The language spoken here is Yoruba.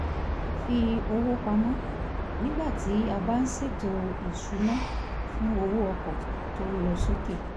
fi owó pamọ́ nígbà tí a bá ń ṣètò ìsuná fún owó ọkọ̀ tó ń lọ sókè